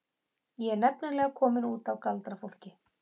Ég er nefnilega komin út af galdrafólki.